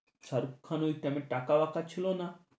শাহরুখ খান ঐ time এ টাকা ছিলো না?